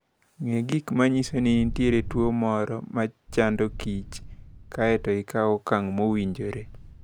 Ng'e gik ma nyiso ni nitie tuwo moro ma chando kich, kae to ikaw okang' mowinjore.